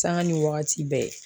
Sanga ni wagati bɛɛ